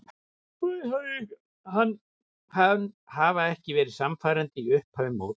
Hafa ekki verið sannfærandi í upphafi móts.